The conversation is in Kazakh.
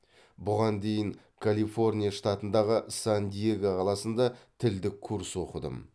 бұған дейін калифорния штатындағы сан диего қаласында тілдік курс оқыдым